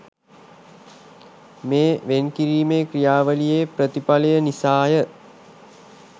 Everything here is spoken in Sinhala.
මේ වෙන් කිරීමේ ක්‍රියාවළියේ ප්‍රතිඵලය නිසාය